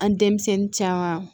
An denmisɛnnin caman